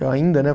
Eu ainda, né?